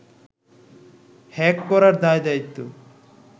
hack করার দায়-দায়িত্ব